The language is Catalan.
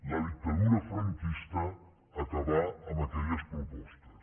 la dictadura franquista acabà amb aquelles propostes